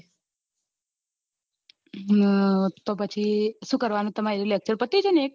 હમ તો પછી શું કરવાનું એ lecture પતિ જાય એક